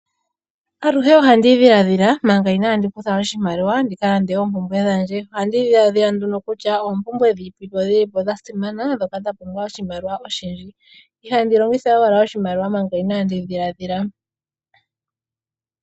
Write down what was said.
Aluhe ohandi dhiladhila manga inaandi kutha oshimaliwa ndika lande oompumbwe dhandje. Ohandi dhiladhila nduno kutya oompumbwe dhi ipi dhili po dha simana ndhoka dha pumbwa oshimaliwa oshindji. Ihandi longitha owala oshimaliwa manga inaandi dhiladhila.